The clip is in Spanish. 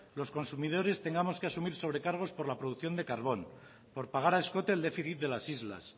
los consumidores que asumir sobrecargos por la producción de carbón por pagar a escote el déficit de las islas